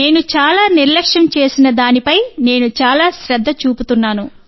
నేను చాలా నిర్లక్ష్యం చేసిన దానిపై నేను చాలా శ్రద్ధ చూపుతున్నాను